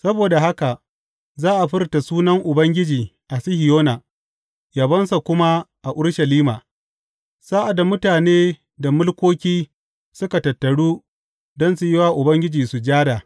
Saboda haka za a furta sunan Ubangiji a Sihiyona yabonsa kuma a Urushalima sa’ad da mutane da mulkoki suka tattaru don su yi wa Ubangiji sujada.